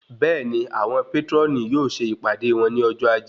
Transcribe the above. Bẹẹni, àwọn patroni yóò ṣe ìpàdé wón ní ọjọ ajé.